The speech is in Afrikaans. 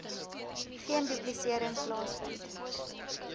geen duplisering plaasvind